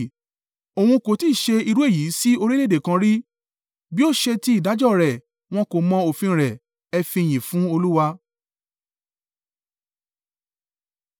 Òun kó tí ṣe irú èyí sí orílẹ̀-èdè kan rí, bí ó ṣe ti ìdájọ́ rẹ̀ wọn ko mọ òfin rẹ̀. Ẹ fi ìyìn fún Olúwa.